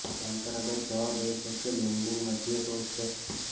પરંપરાગત જવાબ એ છે કે લેન્ડિંગ મધ્ય સોલ શ્રેષ્ઠ છે